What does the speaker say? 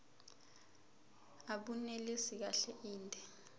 abunelisi kahle inde